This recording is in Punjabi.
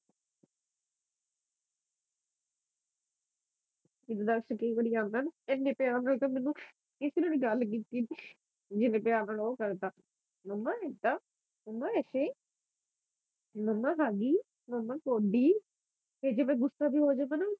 ਜਿਦਾ ਆਉਂਦਾ ਨਾ ਪਿਆਰ ਨਾਲ ਤਾ ਮੈਨੂੰ ਕਿਸੇ ਨੇ ਨਹੀਂ ਗੱਲ ਕੀਤੀ ਜਿਨ੍ਹੇ ਪਿਆਰ ਨਾਲ ਉਹ ਕਰਦਾ ਮੰਮਾ ਏਦਾਂ ਮੰਮਾ ਏਦੀ ਮੰਮਾ ਖਾਲੀ ਮੰਮਾ ਕੌਡੀ ਕੇ ਜਿਵੇ ਗੁੱਸਾ ਬੀ ਹੋ ਜਾਂਦਾ ਨਾ